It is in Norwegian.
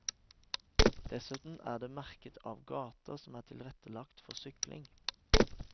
Dessuten er det merket av gater som er tilrettelagt for sykling.